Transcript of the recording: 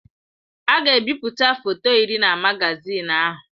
A ga-ebipụta foto iri na magazin ahụ.